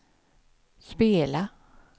spela